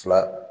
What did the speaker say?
Fila